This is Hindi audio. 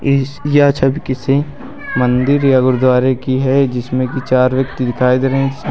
इस यह दृश्य किसी मंदिर या गुरुद्वारे की है जिसमें की चार व्यक्ति दिखाई दे रहे--